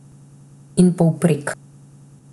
In povprek.